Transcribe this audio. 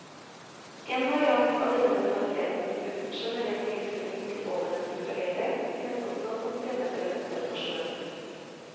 En variant av denne mentaliteten, uten generell tilknytning til ovennevnte tragedier, finnes også som fremmedelementer på sjøen.